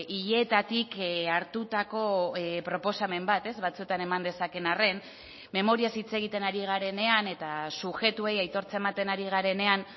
hileetatik hartutako proposamen bat ez batzuetan eman dezakeen arren memoriaz hitz egiten ari garenean eta subjektuei aitortza ematen ari garenean